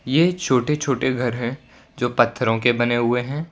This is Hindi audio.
ये छोटे छोटे घर है जो पत्थरों के बने हुए है।